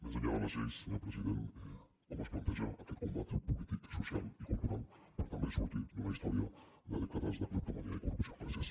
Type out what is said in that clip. més enllà de les lleis senyor president com es planteja aquest combat polític social i cultural per també sortir d’una història de dècades de cleptomania i corrupció gràcies